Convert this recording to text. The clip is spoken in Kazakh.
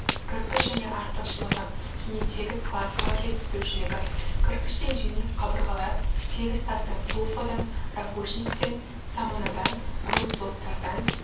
кірпіш және артықшылығы және тегіс кладкадар жетіспеушілігі кірпіштен жеңіл қабырғалар тегіс тастан туфадан ракушечниктен саманадан грунтблоктардан